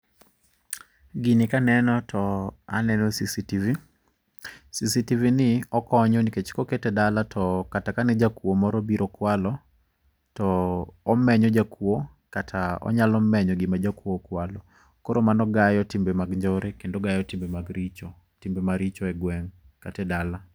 Gini kaneno to aneno CCTV. CCTV ni okonyo nikech kokete edala to kata kane jakuo moro obiro kwalo, to omenyo jakuo kata onyalo menyo gima jakuo kwalo. Koro mano gayo timbe mag njore, ogayo timbe maricho egweng' kata e dala.